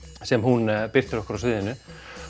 sem hún birtir okkur á sviðinu